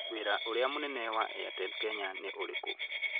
Wĩra ũrĩa mũnene wa Airtel Kenya nĩ ũrĩkũ?